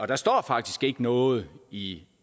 der står faktisk ikke noget i